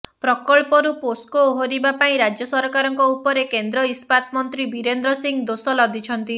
ପ୍ରକଳ୍ପରୁ ପୋସ୍କୋ ଓହରିବା ପାଇଁ ରାଜ୍ୟ ସରକାରଙ୍କ ଉପରେ କେନ୍ଦ୍ର ଇସ୍ପାତ ମନ୍ତ୍ରୀ ବୀରେନ୍ଦ୍ର ସିଂହ ଦୋଷ ଲଦିଛନ୍ତି